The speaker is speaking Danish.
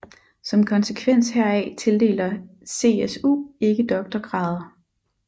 Som konsekvens heraf tildeler CSU ikke doktorgrader